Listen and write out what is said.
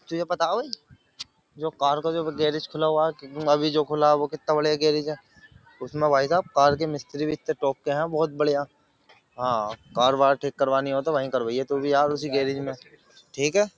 तुझे पता है भाई जो कार का जो गैरेज खुला हुआ है अभी जो खुला है वह कितना बड़िया गैरेज है उसमें भाई साहब कार के मिस्त्री भी इतने टॉक के हैं बहुत बढ़िया हां कार वार ठीक करवानी हो तो वहीं करवाइए तू भी यार उसी गैरेज में ठीक है।